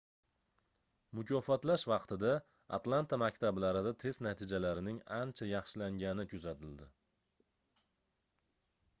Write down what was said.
mukofotlash vaqtida atlanta maktablarida test natijalarining ancha yaxshilangani kuzatildi